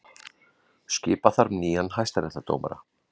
Skipa þarf nýja hæstaréttardómara